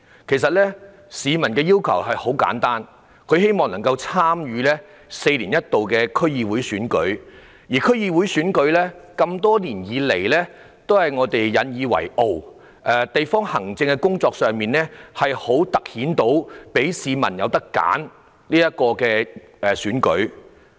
其實，市民的要求很簡單，他們希望能夠參與這次4年一度的區議會選舉，因為這項選舉多年來都是大家引以為傲，可以在地方行政工作上凸顯市民有選擇的選舉。